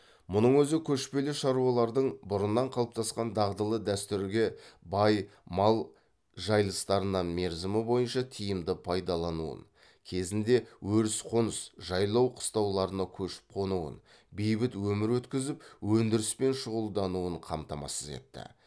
мұның өзі көшпелі шаруалардың бұрыннан қалыптасқан дағдылы дәстүрге бай мал жайылыстарынан мерзімі бойынша тиімді пайдалануын кезінде өріс қоныс жайлау қыстауларына көшіп қонуын бейбіт өмір өткізіп өндіріспен шұғылдануын қамтамасыз етті